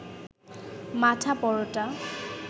মাঠা, পরোটা